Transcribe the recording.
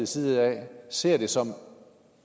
side ser det som